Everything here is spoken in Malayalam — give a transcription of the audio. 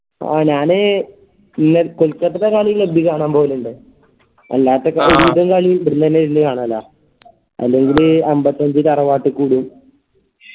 ആ ഞാന് കൊൽക്കത്ത കളി club ൽ കാണാ പോവലിണ്ട് അല്ലാത്ത കളി ഇവിടന്നെ ഇരുന്ന് കാണലാ അല്ലെങ്കില് അമ്പത്തഞ്ച് തറവാട്ട്ക്ക് വിടും